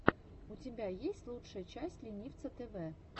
у тебя есть лучшая часть ленивца тэвэ